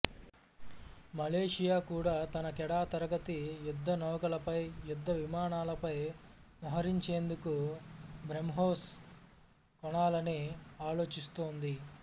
Malaysia కూడా తన Kedah తరగతి యుద్ధనౌకలపై యుద్ధ విమానాలపై మోహరించేందుకు బ్రహ్మోస్ కొనాలని ఆలోచిస్తోంది